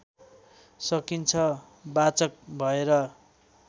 सकिन्छ वाचक भएर